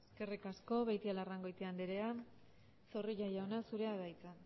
eskerrik asko beitialarrangoitia andrea zorrilla jauna zurea da hitza